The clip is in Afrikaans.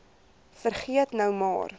vergeet nou maar